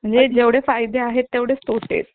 आपण एकदोन दिवस late देऊ आता एवढे दिवस निघाले दोन दिवस आणखी सही